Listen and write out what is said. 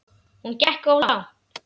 Hún gekk of langt.